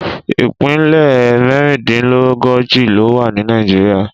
Ìpínlẹ̀ mẹ́rìndínlógójì ló wà ní Nàìjíríà.